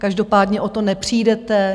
Každopádně o to nepřijdete.